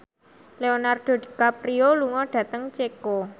Leonardo DiCaprio lunga dhateng Ceko